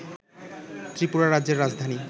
ত্রিপুরা রাজ্যের রাজধানী